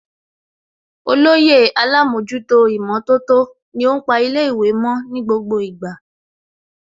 Olóyè Alámọ̀jútó ìmọ̀tótó ni ó ń pa ilé ìwé mo ní gbogbo ìgbà